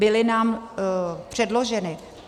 Byly nám předloženy.